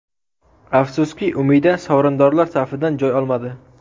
Afsuski, Umida sovrindorlar safidan joy olmadi.